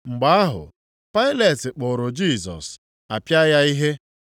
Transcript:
Mgbe ahụ, Pailet kpụụrụ Jisọs, a pịa ya ihe.